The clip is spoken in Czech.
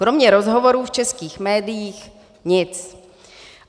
Kromě rozhovorů v českých médiích nic.